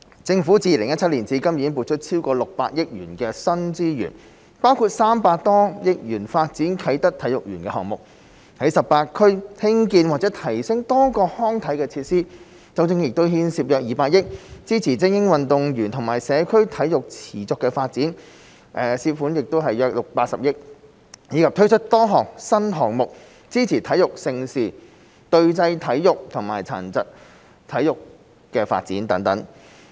政府自2017年至今已撥出超過600億元的新資源，包括300多億元發展啟德體育園項目；在18區興建或提升多個康體設施，當中亦牽涉約200億元；支持精英運動和社區體育的持續發展，涉款約80億元，以及推出多個新項目支持體育盛事、隊際體育和殘疾體育發展等。